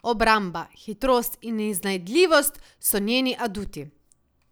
Obramba, hitrost in iznajdljivost so njeni aduti.